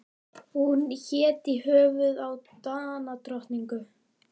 Hún hét í höfuðið á Danadrottningu.